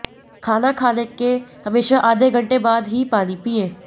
खाना खाने के हमेशा आधे घंटे बाद ही पानी पिएं